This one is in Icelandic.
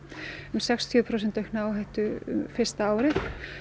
sextíu prósent aukna áhættu fyrsta árið